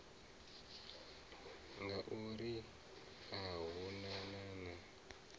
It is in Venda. ngauri a hu na na